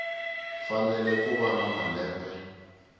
fanele ku va na malembe